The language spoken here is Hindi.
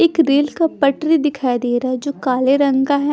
एक रेल का पटरी दिखाई दे रहा जो काले रंग का है।